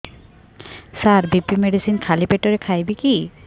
ସାର BP medicine ଖାଲି ପେଟରେ ଖାଇବି କି